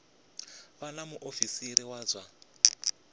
vha na muofisiri wa zwa